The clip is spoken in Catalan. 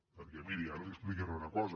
perquè miri ara li explicaré una cosa